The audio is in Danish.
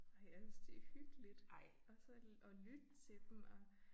Nej jeg synes det hyggeligt og så at lytte til dem og